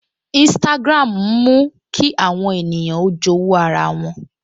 Instagram ń mú kí àwọn ènìyàn ó jowu ara wọn